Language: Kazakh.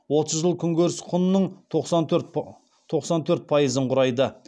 отыз жыл күнкөріс құнының тоқсан төрт пайызын құрайды